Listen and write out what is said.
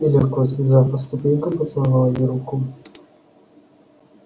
и легко взбежав по ступенькам поцеловал ей руку